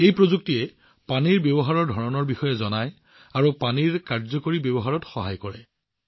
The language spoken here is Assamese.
এই প্ৰযুক্তিয়ে আমাক পানীৰ ব্যৱহাৰৰ আৰ্হিৰ বিষয়ে কব আৰু পানীৰ কাৰ্যকৰী ব্যৱহাৰত সহায় কৰিব